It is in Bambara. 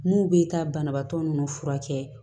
N'u bɛ taa banabaatɔ ninnu furakɛ